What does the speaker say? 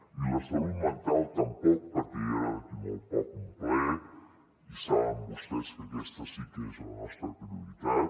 i la salut mental tampoc perquè hi haurà d’aquí molt poc un ple i saben vostès que aquesta sí que és la nostra prioritat